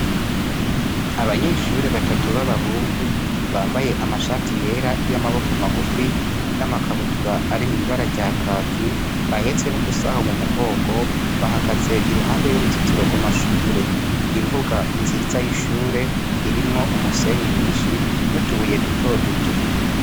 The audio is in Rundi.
Abanyeshure batatu b'abahungu bambaye amashati yera y'amaboko magufi n'amakabutura arimwo ibara rya kaki, bahetse n'udusaho mumugongo, bahagaze iruhande y'uruzitiro rw'amashure. Imbuga nziza y'ishure irimwo umusenyi mwinshi n'utubuye dutoduto.